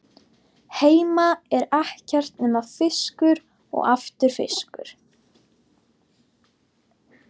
Heima er ekkert nema fiskur og aftur fiskur.